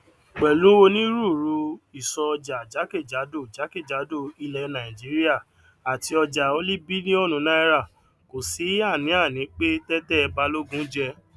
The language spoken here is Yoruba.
pèlú onírúurú ìsọojà jákèjádò jákèjádò ilè nàìjíríà àti ojà oní bílíònù náírà kò sí àníàní pé tété balógun je